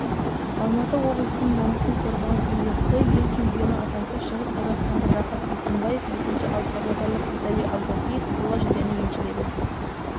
алматы облысының намысын қорғаған игорь цой ел чемпионы атанса шығысқазақстандық рахат бейсенбаев екінші ал павлодарлық виталий ауғазиев қола жүлдені еншіледі